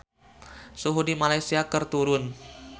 Suhu di Malaysia keur turun